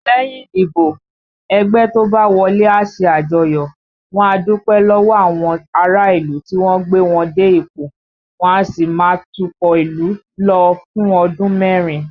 Lẹ́yìn ìdìbò, ẹgbẹ́ tó bá wọlé a ṣe àjọyọ̀, wọ́n á dúpẹ́ lọ́wọ́ àwọn ará ìlú tí wọ́n gbé wọn dé ipò, wọ́n á sì máa tukọ̀ ìlú lọ fún ọdún mẹ́rin